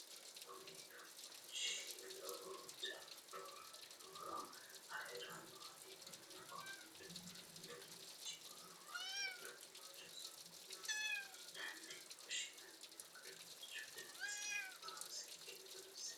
Kunni uduunchi lowo horo afirinoha ikanna konni uduunichi horo maati? Uduunichu su'ma mayinne woshinnanni? Uduunichu dannasi hiitoohoro seekite xawisi kuli?